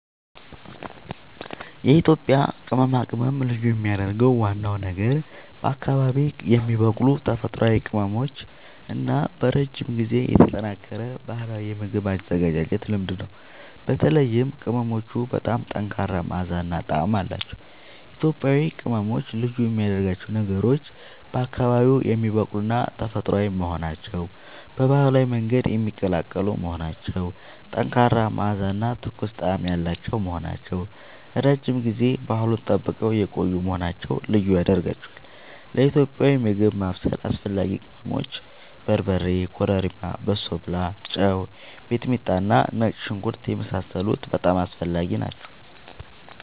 የኢትዮጵያ ቅመማ ቅመም ልዩ የሚያደርገው ዋናው ነገር በአካባቢዉ የሚበቅሉ ተፈጥሯዊ ቅመሞች እና በረጅም ጊዜ የተጠናከረ ባህላዊ የምግብ አዘገጃጀት ልምድ ነው። በተለይም ቅመሞቹ በጣም ጠንካራ መዓዛ እና ጣዕም አላቸዉ። ኢትዮጵያዊ ቅመሞች ልዩ የሚያደርጋቸው ነገሮች፦ በአካባቢዉ የሚበቅሉና ተፈጥሯዊ መሆናቸዉ፣ በባህላዊ መንገድ የሚቀላቀሉ መሆናቸዉ፣ ጠንካራ መዓዛ እና ትኩስ ጣዕም ያላቸዉ መሆናቸዉ፣ ረዥም ጊዜ ባህሉን ጠብቀዉ የቆዪ መሆናቸዉ ልዪ ያደርጋቸዋል። ለኢትዮጵያዊ ምግብ ማብሰል አስፈላጊ ቅመሞች፦ በርበሬ፣ ኮረሪማ፣ በሶብላ፣ ጨዉ፣ ሚጥሚጣና ነጭ ሽንኩርት የመሳሰሉት በጣም አስፈላጊ ናቸዉ